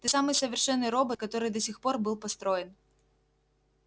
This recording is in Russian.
ты самый совершенный робот который до сих пор был построен